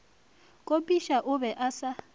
kopiša o be a sa